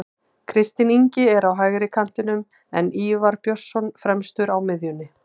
Kristinn Ingi er á hægri kantinum en Ívar Björnsson fremstur á miðjunni.